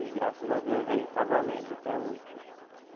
E graças a Deus aí está valendo até hoje.